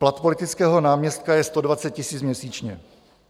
Plat politického náměstka je 120 000 měsíčně.